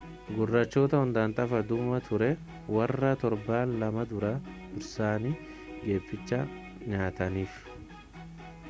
gurraachota hundaaf tapha dhumaa turee warra torban lama dura dursanii geephicha nyaataniif